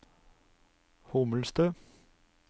Hommelstø